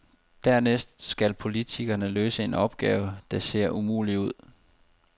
Dernæst skal politikerne løse en opgave, der ser umulig ud.